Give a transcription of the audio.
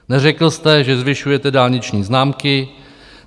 Neřekl jste, že zvyšujete dálniční známky.